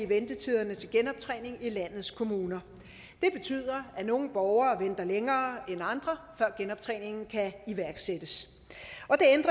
ventetiderne til genoptræning i landets kommuner det betyder at nogle borgere venter længere end andre før genoptræningen kan iværksættes